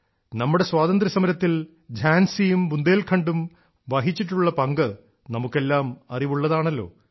നമ്മുടെ സ്വാതന്ത്ര്യസമരത്തിൽ ഝാൻസിയും ബുന്ദേൽഖണ്ഡും വഹിച്ചിട്ടുള്ള പങ്ക് നമുക്കെല്ലാം അറിവുള്ളതാണല്ലോ